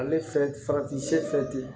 Ale fɛn farati se tɛ yen